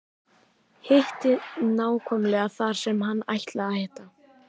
Hitti nákvæmlega þar sem hann ætlaði að hitta.